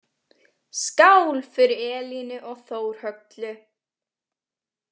Skál fyrir Elínu og Þórhöllu.